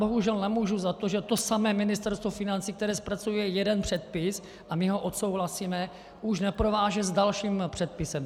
Bohužel nemůžu za to, že to samé Ministerstvo financí, které zpracuje jeden předpis, a my ho odsouhlasíme, už neprováže s dalším předpisem.